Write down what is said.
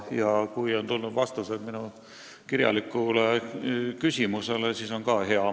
Ja kui on tulnud vastus minu kirjalikule küsimusele, siis on ka hea.